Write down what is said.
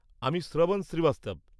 আমি শ্রবণ শ্রীবাস্তব।